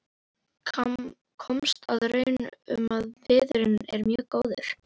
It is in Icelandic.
Komst að raun um að viðurinn er mjög góður.